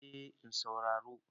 eh in sauraro